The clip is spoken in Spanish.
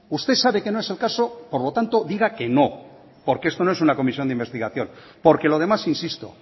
usted sabe que no es el caso por lo tanto diga que no porque esto no es una comisión de investigación porque lo demás insisto